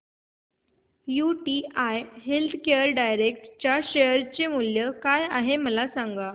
UTI healthcare direct च्या share चे मूल्य काय आहे मला सांगा